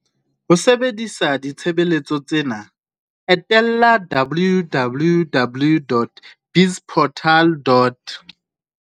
Ho sebedisa ditshebeletso tsena, etela www.bizportal.